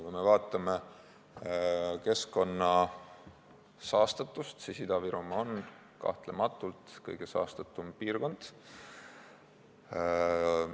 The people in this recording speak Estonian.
Kui me vaatame keskkonna saastatust, siis näeme, et Ida-Virumaa on kahtlematult kõige saastatum piirkond.